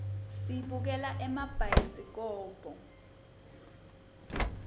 sibukela emabhayisikobho